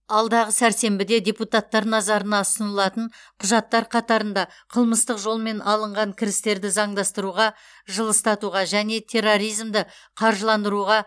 алдағы сәрсенбіде депутаттар назарына ұсынылатын құжаттар қатарында қылмыстық жолмен алынған кірістерді заңдастыруға жылыстатуға және терроризмді қаржыландыруға